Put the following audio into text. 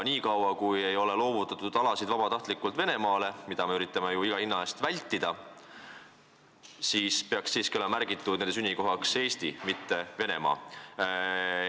Niikaua, kui neid alasid ei ole vabatahtlikult Venemaale loovutatud – mida me üritame ju iga hinna eest vältida –, peaks siiski olema nende sünnikohaks märgitud Eesti, mitte Venemaa.